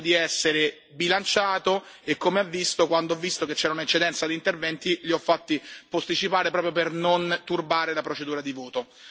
Io cerco di essere bilanciato e, come ha visto, quando ho visto che c'era un'eccedenza di interventi li ho fatti posticipare proprio per non turbare la procedura di voto.